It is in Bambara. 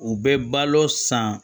U bɛ balo san